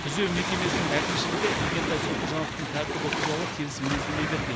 түзеу мекемесінің әкімшілігі игентай сопыжановтың тәртібі туралы теріс мінездеме берген